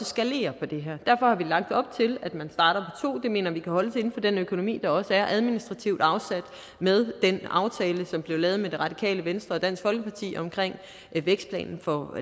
skalerer på det her derfor har vi lagt op til at man starter to det mener vi kan holdes inden for den økonomi der også er afsat administrativt med den aftale som blev lavet med det radikale venstre og dansk folkeparti om vækstplanen for